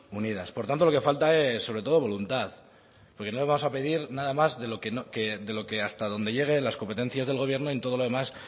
unidas por tanto lo que falta es sobre todo voluntad porque no le vamos a pedir nada más de lo que hasta donde lleguen las competencias del gobierno y en todos los demás